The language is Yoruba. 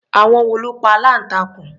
Àwọn wo ló pa aláǹtakùn?